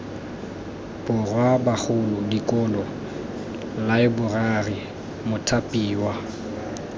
borwa bagolo dikolo laeborari mothapiwa